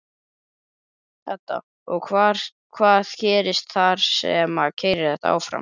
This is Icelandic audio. Edda: Og hvað gerist þar sem að keyrir þetta áfram?